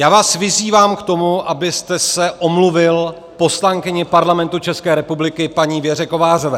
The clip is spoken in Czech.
Já vás vyzývám k tomu, abyste se omluvil poslankyni Parlamentu České republiky paní Věře Kovářové.